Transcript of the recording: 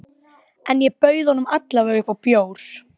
En ég bauð honum alla vega upp á bjór.